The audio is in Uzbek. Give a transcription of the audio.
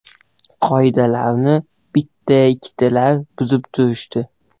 Qoidalarni bitta-ikkitalar buzib turishdi.